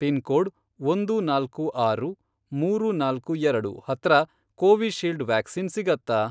Pin code, ಒಂದು ನಾಲ್ಕು ಆರು, ಮೂರು ನಾಲ್ಕು ಎರಡು, ಹತ್ರ ಕೋವಿಶೀಲ್ಡ್ ವ್ಯಾಕ್ಸಿನ್ ಸಿಗತ್ತಾ?